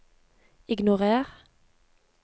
ignorer